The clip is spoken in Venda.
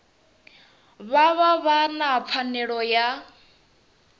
vha vha na pfanelo ya